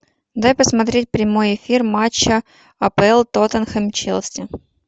дай посмотреть прямой эфир матча апл тоттенхэм челси